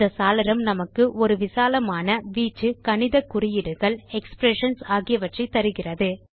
இந்த சாளரம் நமக்கு ஒரு விசாலமான வீச்சு கணித குறியீடுகள் எக்ஸ்பிரஷன்ஸ் ஆகியவற்றை தருகிறது